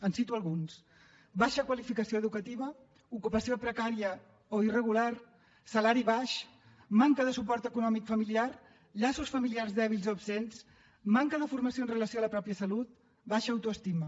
en cito alguns baixa qualificació educativa ocupació precària o irregular salari baix manca de suport econòmic familiar llaços familiars dèbils o absents manca de formació amb relació a la mateixa salut baixa auto estima